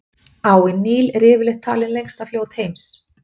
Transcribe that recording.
Áin Níl er yfirleitt talið lengsta fljót heims.